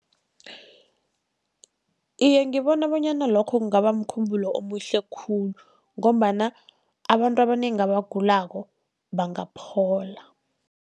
Iye, ngibona bonyana lokho kungaba mkhumbulo omuhle khulu, ngombana abantu abanengi abagulako bangaphola.